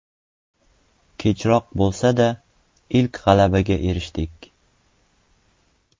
Kechroq bo‘lsa-da, ilk g‘alabaga erishdik.